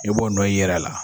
I b'o nɔ y'i yɛrɛ la